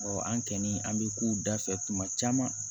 an kɔni an bɛ kow dafɛ tuma caman